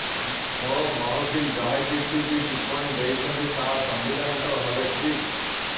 ମୋ ମହକିଲ ଯାହାକିଛି ବି ଟିପ୍ପଣୀ ଦେଇଛନ୍ତି ତାହା ସାମ୍ବିଧାନିକ ଭାବେ ଠିକ୍